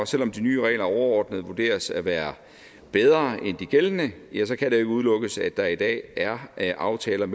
selv om de nye regler overordnet vurderes til at være bedre end de gældende kan det jo ikke udelukkes at der i dag er aftaler